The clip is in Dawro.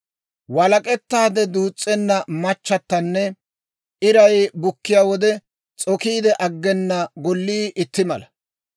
Walak'ettaade duus's'enna machchatanne iray bukkiyaa wode s'okiide aggena gollii itti mala.